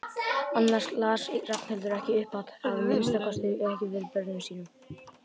Annars las Ragnhildur ekki upphátt, að minnsta kosti ekki fyrir börnin sín.